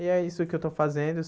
E é isso que eu estou fazendo.